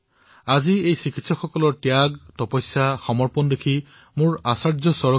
আজি চিকিৎসকসকলক ত্যাগ তপস্যা আৰু সমৰ্পণৰ ভাৱ দেখি মোৰ আচাৰ্য চৰকৰ এটা কথা মনলৈ আহিছে